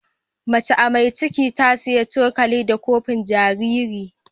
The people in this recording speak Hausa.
Macea mai cikin ta saya cokali da kofin jariri.